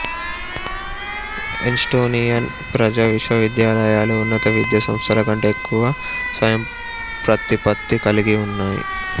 Estonian ప్రజా విశ్వవిద్యాలయాలు ఉన్నత విద్యా సంస్థల కంటే ఎక్కువగా స్వయంప్రతిపత్తి కలిగివున్నాయి